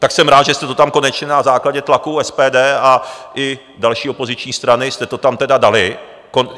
Tak jsem rád, že jste to tam konečně na základě tlaku SPD a i další opoziční strany jste to tam tedy dali.